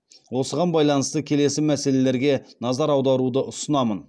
осыған байланысты келесі мәселелерге назар аударуды ұсынамын